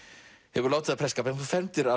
hefur látið af prestskap en þú fermdir